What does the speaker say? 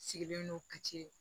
Sigilen don kati